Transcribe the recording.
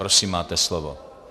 Prosím, máte slovo.